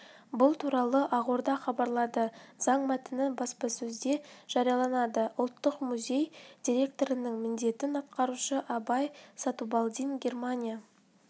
бұл туралы ақорда хабарлады заң мәтіні баспасөзде жарияланады ұлттық музей директорының міндетін атқарушы абай сатубалдин германия